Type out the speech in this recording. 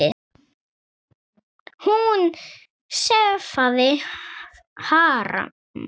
Hún sefaði harma.